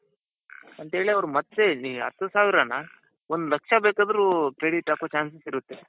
ಅಂತ ಹೇಳಿ ಅವ್ರ್ ಮತ್ತೆ ಇಲ್ಲಿ ಹತ್ತು ಸಾವಿರಾನ ಒಂದು ಲಕ್ಷ ಬೇಕಾದ್ರೂ credit ಹಾಕೋ chances ಇರುತ್ತೆ.